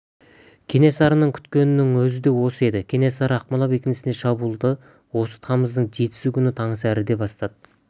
кенесарының күткенінің өзі де осы еді кенесары ақмола бекінісіне шабуылды осы тамыздың жетісі күні таңсәріден бастады